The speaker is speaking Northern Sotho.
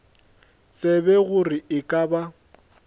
tsebe gore e ka ba